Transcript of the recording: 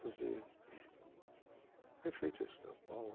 Fazer, foi feito em São Paulo.